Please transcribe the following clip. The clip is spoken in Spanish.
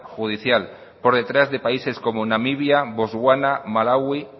judicial por detrás de países como namibia bostwana malaui